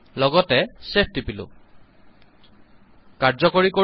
লগতে ছেভ টিপিলো কাৰ্যকৰী কৰো